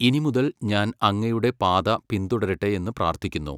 ഇനിമുതൽ ഞാൻ അങ്ങയുടെ പാത പിന്തുടരട്ടെ എന്ന് പ്രാർത്ഥിക്കുന്നു.